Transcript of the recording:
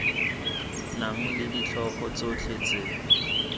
nang le ditlhogo tsotlhe tse